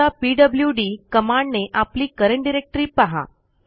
आता पीडब्ल्यूडी कमांडने आपली करंट डायरेक्टरी पहा